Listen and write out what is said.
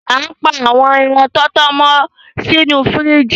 Á n pa àwọn èràn tọtọ mọ si inú fìríjì